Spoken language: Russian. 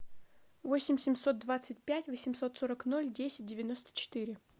восемь семьсот двадцать пять восемьсот сорок ноль десять девяносто четыре